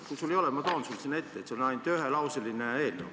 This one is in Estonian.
Kui sul ei ole, ma toon selle sulle sinna ette, see on ainult ühelauseline eelnõu.